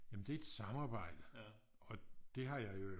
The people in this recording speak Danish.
Jamen det et samarbejde og det har jeg i øvrigt